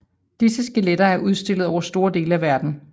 Disse skeletter er udstillet over store dele af verden